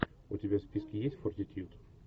у тебя в списке есть фортитьюд